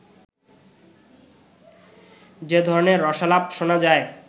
যে ধরনের রসালাপ শোনা যায়